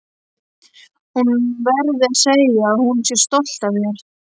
Hún verði að segja að hún sé stolt af mér.